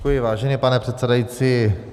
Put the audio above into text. Děkuji, vážený pane předsedající.